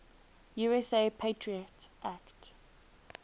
usa patriot act